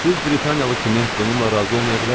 Siz Britaniyalı kimi bununla razı olmaya bilərsiniz.